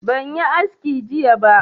Ban yi aski jiya ba